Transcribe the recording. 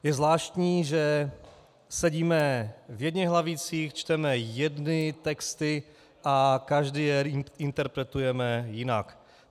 Je zvláštní, že sedíme v jedněch lavicích, čteme jedny texty a každý je interpretujeme jinak.